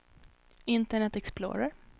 internet explorer